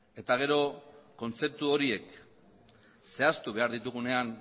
eta gero kontzeptu horiek zehaztu behar ditugunean